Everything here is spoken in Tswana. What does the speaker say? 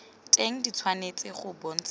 teng di tshwanetse go bontshiwa